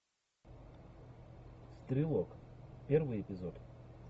стрелок первый эпизод